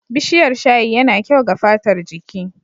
Bishiyar shayi ya na kyau ga fatar jiki.